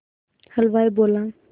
हलवाई बोला